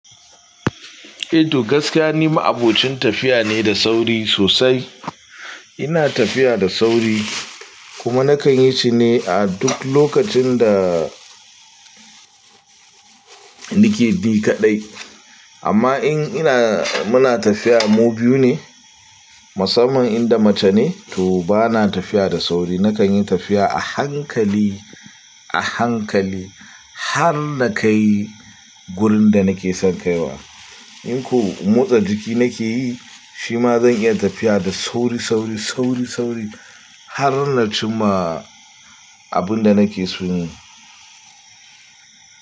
Eh to gaskiya ni ma'abocin tafiya ne da sauri sosai. Ina tafiya da sauri kuma na kan yi shi ne a duk lokacin da nike bi kaɗai. Amma in ina, muna tafiya mu biyu ne, musamman inda mace ne to bana tafiya da sauri. Na kan yi tafiya a hankali, a hankali har na kai gurin da nake son kaiwa. In ko motsa jiki nake yi, shima zan iya tafiya da sauri, sauri, sauri, sauri har na cimma abin da nake so yin.